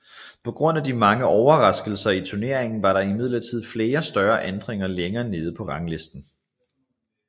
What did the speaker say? På grund af de mange overraskelser i turneringen var der imidlertid flere større ændringer længere nede på ranglisten